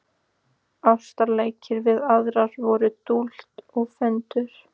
Ástarleikir við aðra voru dútl og föndur.